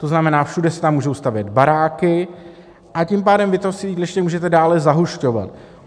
To znamená, všude se tam můžou stavět baráky, a tím pádem vy to sídliště můžete dále zahušťovat.